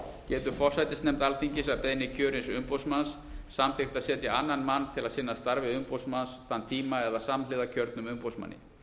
getur forsætisnefnd alþingis að beiðni kjörins umboðsmanns samþykkt að setja annan mann til að sinna starfi umboðsmanns þann tíma eða samhliða kjörnum umboðsmanni